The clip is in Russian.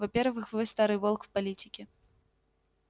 во-первых вы старый волк в политике